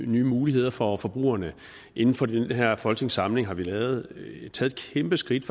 nye muligheder for forbrugerne inden for den her folketingssamling har vi taget et kæmpeskridt